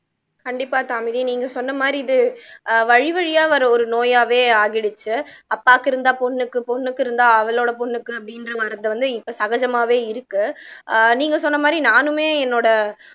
கண்டிப்பா தாமினி நீங்க சொன்ன மாதிரி இது ஆஹ் வழிவழியா வர்ற ஒரு நோயாவே ஆகிடுச்சு அப்பாவுக்கு இருந்தா பொண்ணுக்கு பொண்ணுக்கு இருந்தா அவளோட பொண்ணுக்கு அப்படின்ற மரபு வந்து இப்ப சகஜமாவே இருக்கு ஆஹ் நீங்க சொன்ன மாதிரி நானுமே என்னோட